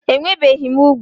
Enwebeghị m úgwù